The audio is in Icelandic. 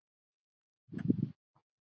Helga: Gefur lífinu gildi?